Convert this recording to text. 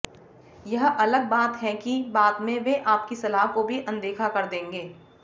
यह अलग बात है कि बाद में वे आपकी सलाह को भी अनदेखा कर देंगे